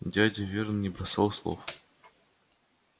дядя вернон не бросал слов